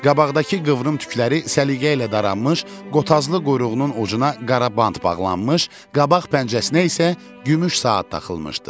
Qabaqdakı qıvrım tükləri səliqə ilə daranmış, qotazlı quyruğunun ucuna qara bant bağlanmış, qabaq pəncəsinə isə gümüş saat taxılmışdı.